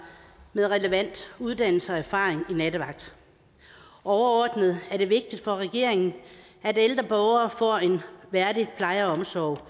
med relevant uddannelse og erfaring i nattevagt overordnet er det vigtigt for regeringen at ældre borgere får en værdig pleje og omsorg